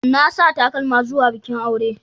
Na sa takalma zuwa bikin aure.